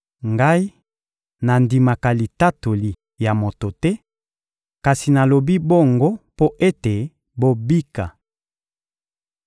Ngai, nandimaka litatoli ya moto te; kasi nalobi bongo mpo ete bobika.